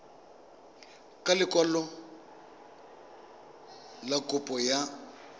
ka lekwalo fa kopo ya